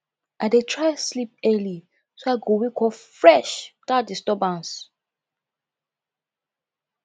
i dey try sleep early so i go wake up fresh without disturbance